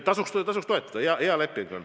Tasuks toetada, hea leping on.